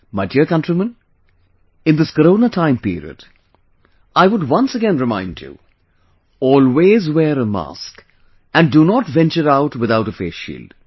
My dear countrymen, in this Corona timeperiod, I would once again remind you Always wear a mask and do not venture out without a face shield